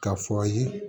K'a fɔ a ye